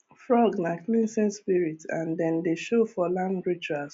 frog nah cleansing spirit and dem dey show for land rituals